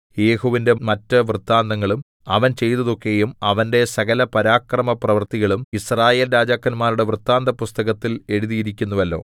യേഹൂവിന്റെ മറ്റ് വൃത്താന്തങ്ങളും അവൻ ചെയ്തതൊക്കെയും അവന്റെ സകലപരാക്രമപ്രവൃത്തികളും യിസ്രായേൽ രാജാക്കന്മാരുടെ വൃത്താന്തപുസ്തകത്തിൽ എഴുതിയിരിക്കുന്നുവല്ലോ